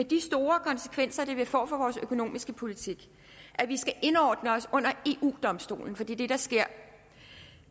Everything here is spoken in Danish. de store konsekvenser det vil få for vores økonomiske politik at vi skal indordne os under eu domstolen for det er det der sker og